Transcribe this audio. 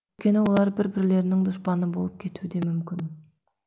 өйткені олар бір бірлерінің дұшпаны болып кетуде мүмкін